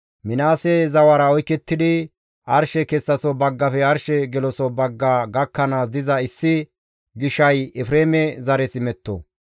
Minaase zawara oykettidi arshe kessaso baggafe arshe geloso bagga gakkanaas diza issi gishay Efreeme zares imetto.